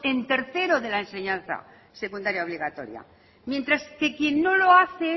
en tercero de la enseñanza secundaria obligatoria mientras que quien no lo hace